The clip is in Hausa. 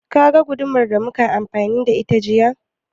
Ka ga gudumar da muka yi amfani da ita jiya?